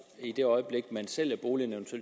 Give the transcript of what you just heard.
i det øjeblik man sælger boligen